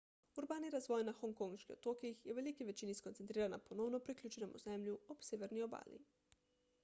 urbani razvoj na hongkonških otokih je v veliki večini skoncentriran na ponovno priključenem ozemlju ob severni obali